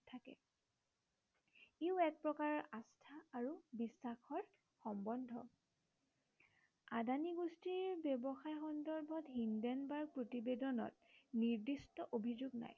ইও এক প্ৰকাৰৰ আস্থা আৰু বিশ্বাসৰ সম্বন্ধ। আদানী গোষ্ঠীৰ ব্য়ৱসায় সন্দৰ্ভত হিন্ডেনবাৰ্গ প্ৰতিবেদনত নিৰ্দিষ্ট অভিযোগ নাই